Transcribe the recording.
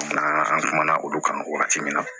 an kumana olu kan wagati min na